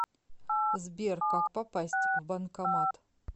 сбер как попасть в банкомат